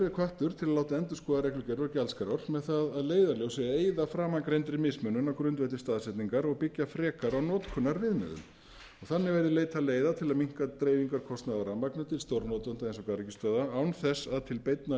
er hvattur til að láta endurskoða reglugerð og gjaldskrár með það að leiðarljósi að eyða framangreindri mismunun á grundvelli staðsetningar og byggja frekar á notkunarviðmiðum þannig verði leitað leiða til að minnka dreifingarkostnað á rafmagni til stórnotenda eins og garðyrkjustöðva án þess að til beinna